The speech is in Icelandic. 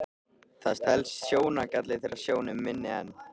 Það telst sjóngalli þegar sjón er minni en